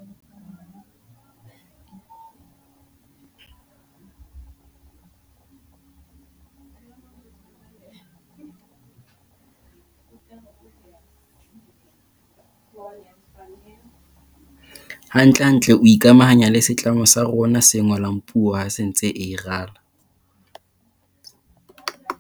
Hantlentle o ile a ikamahanya le setlamo sa rona se ngolang puo ha se ntse e rala.